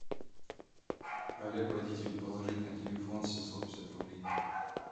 олег водитель положить на телефон семьсот пятьдесят рублей